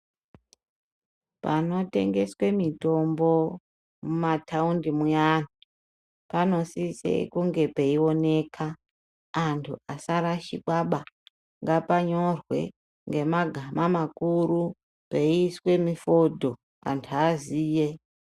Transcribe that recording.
Panotengeswe mitombo mumataundi muyani, panosise kunge peioneka antu asarashikwaba. Ngapanyorwe ngemagama makuru peiiswe mifodho antu aziye.